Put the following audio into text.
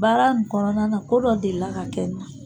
Baara in kɔnɔna na ko dɔ delila ka kɛ n na.